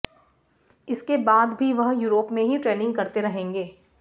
इसके बाद भी वह यूरोप में ही ट्रेनिंग करते रहेंगे